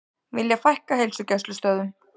Vilja fækka heilsugæslustöðvum